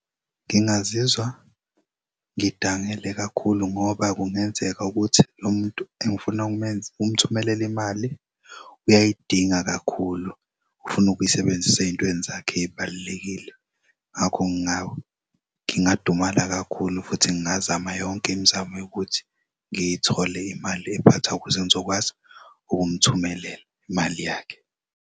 Ngingazizwa ngidangele kakhulu ngoba kungenzeka ukuthi lo muntu engifuna ukumthumelela imali uyayidinga kakhulu ufuna ukuyisebenzisa ey'ntweni zakhe ey'balulekile. Ngakho ngingadumala kakhulu futhi ngingazama yonk'imizamo yokuthi ngiy'thole imali ephathwayo ukuze ngizokwazi ukumthumelela imali yakhe.